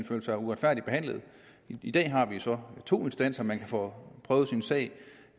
føler sig uretfærdigt behandlet i dag har vi så to instanser man kan få prøvet sin sag